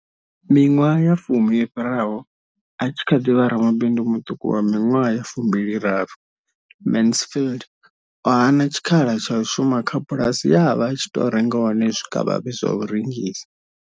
Miṅwaha ya fumi yo fhiraho, a tshi kha ḓi vha ramabindu muṱuku wa miṅwaha ya fumbili raru, Mansfield o hana tshikhala tsha u shuma kha bulasi ye a vha a tshi renga hone zwikavhavhe zwa u rengisa.